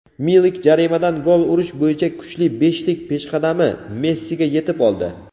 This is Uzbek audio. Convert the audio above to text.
Milik jarimadan gol urish bo‘yicha kuchli beshlik peshqadami Messiga yetib oldi.